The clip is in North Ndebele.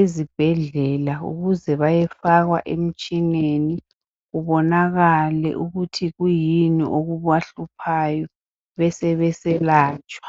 ezibhedlela ukuze bayefakwa emtshineni kubonakale ukuthi kuyini okubahluphayo besebeselatshwa.